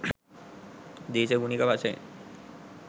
දේශගුණික වශයෙන්